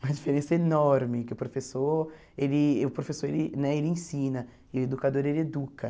Uma diferença enorme, que o professor, ele o professor ele né ele ensina, e o educador, ele educa.